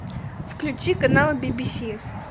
включи канал бибиси